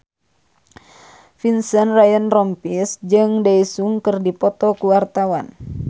Vincent Ryan Rompies jeung Daesung keur dipoto ku wartawan